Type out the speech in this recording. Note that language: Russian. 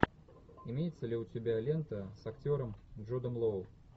имеется ли у тебя лента с актером джудом лоу